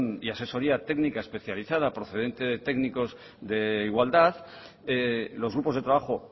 y asesoría técnica especializada procedente de técnicos de igualdad los grupos de trabajo